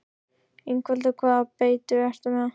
Ingveldur: Hvaða beitu ertu með?